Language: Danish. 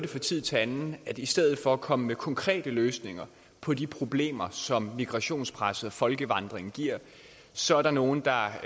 tid til anden at i stedet for at komme med konkrete løsninger på de problemer som migrationspresset folkevandringen giver så er der nogle der